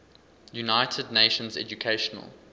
united nations educational